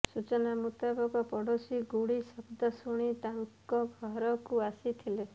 ସୂଚନା ମୁତାବକ ପଡ଼ୋଶୀ ଗୁଳି ଶବ୍ଦ ଶୁଣି ତାଙ୍କ ଘରକୁ ଆସିଥିଲେ